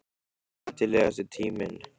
Skemmtilegasti tíminn?